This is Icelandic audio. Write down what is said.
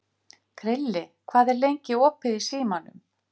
Krilli, hvað er lengi opið í Símanum?